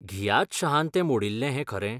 घियात शहान तें मोडिल्लें हें खरें ?